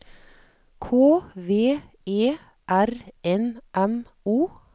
K V E R N M O